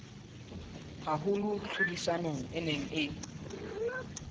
haholo tlhodisanong e neng e